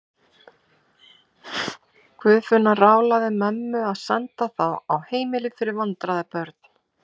Guðfinna ráðlagði mömmu að senda þá á heimili fyrir vandræðabörn.